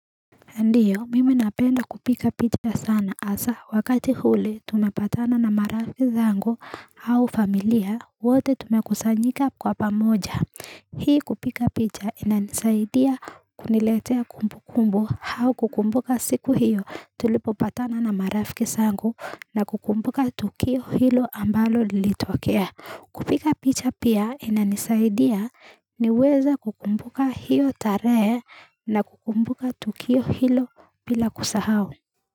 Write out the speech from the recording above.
Ndiyo, mimi napenda kupika picha sana asa wakati hule tumepatana na marafiki zangu au familia wote tumekusanyika kwa pamoja. Hii kupika picha ina nisaidia kuniletea kumbu kumbu hau kukumbuka siku hiyo tulipopatana na marafiki zangu na kukumbuka tukio hilo ambalo lilitokea. Kupika picha pia ina nisaidia niweza kukumbuka hio tarehe na kukumbuka tukio hilo pila kusahau.